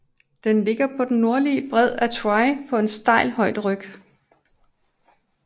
Den ligger på den nordlige bred af Tywi på en stejl højderyg